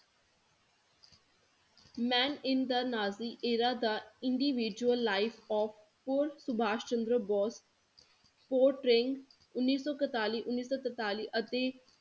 Man in the Nazi era, the individual life of poor Subhash Chandra Bose ਉੱਨੀ ਸੋ ਇਕਤਾਲੀ ਉੱਨੀ ਸੋ ਤਰਤਾਲੀ ਅਤੇ